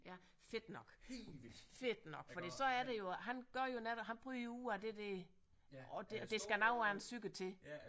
Ja fedt nok fedt nok fordi så er det jo han gør jo netop han bryder jo ud af det der og der skal noget af en psyke til